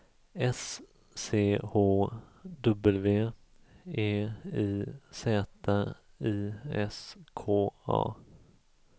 S C H W E I Z I S K A